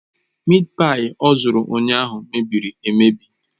Mịịt páyi ọ zụtara ụnyahụ mebiri emebi.